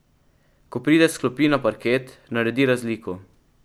Ko pride s klopi na parket, naredi razliko ...